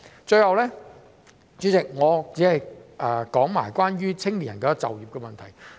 主席，最後我只想談談青年人的就業問題。